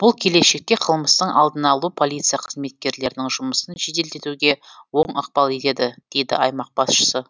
бұл келешекте қылмыстың алдын алуға полиция қызметкерлерінің жұмысын жеделдетуге оң ықпал етеді дейді аймақ басшысы